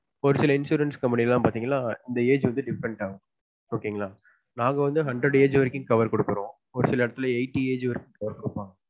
ஒரு சில insurance company லான் பாத்தீங்கனா age வந்து different ஆகும் okay ங்களா நாங்க வந்து hundred age வரைக்கும் cover குடுக்குறொம் ஒரு சில எடத்துல eighty age வரைக்கும் cover குடுப்பாங்க